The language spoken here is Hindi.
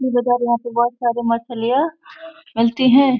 ये देखिए आप यहाँ पे बहोत सारे मछलियाँ मिलती है।